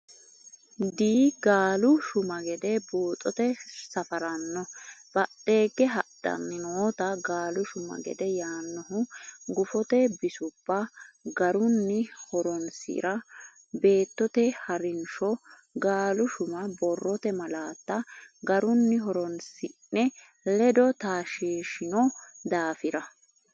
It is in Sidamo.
Di gaalu shuma gede Buuxote Safaraano badheegge hadhanni nootta gaalu shuma gede yaannohu Gufote bisubba garunni horonsi ra beettote ha rinsho gaalu shuma Borrote malaatta garunni horonsi ne ledo taashshiishino daafira.